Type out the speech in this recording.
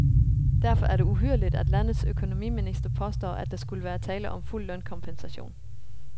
Derfor er det uhyrligt, at landets økonomiminister påstår, at der skulle være tale om fuld lønkompensation.